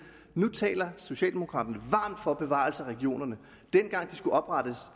nu taler socialdemokraterne varmt for bevarelse af regionerne dengang de skulle oprettes